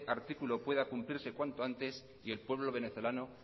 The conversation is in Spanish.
artículo pueda cumplirse cuanto antes y el pueblo venezolano